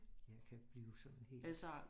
Jeg kan blive sådan helt